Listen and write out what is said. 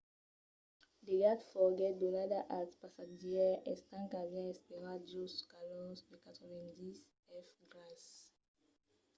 d'aiga foguèt donada als passatgièrs estant qu'avián esperat jos de calors de 90 f grases